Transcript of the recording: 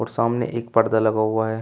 सामने एक पर्दा लगा हुआ है।